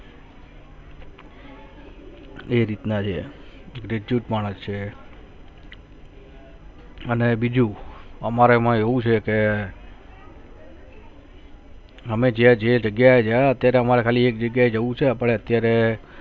એ રીતના છે graduate માણસ છે અને બીજુ અમારે મા એવુ છે કે અમે જ્યા જે જગ્યા જા અત્યારે હમારે ખાલી એક જગ્યા જાઉ છે આપડે અત્યારે